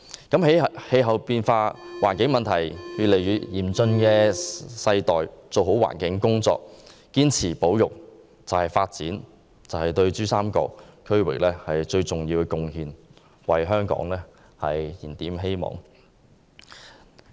在氣候變化和環境問題日益嚴峻的世代做好環境工作，堅持保育，是對珠三角區域發展最重要的貢獻，為香港燃點希望。